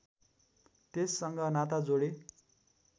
त्यससँग नाता जोडे